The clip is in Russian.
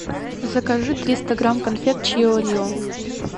закажи триста грамм конфет чио рио